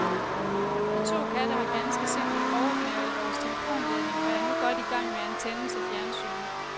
De to katte har ganske simpelt overgnavet vores telefonledning og er nu godt i gang med antennen til fjernsynet.